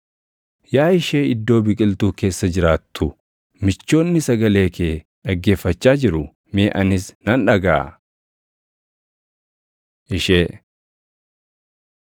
Yaa ishee iddoo biqiltuu keessa jiraattu, michoonni sagalee kee dhaggeeffachaa jiru; mee anis nan dhagaʼa! Ishee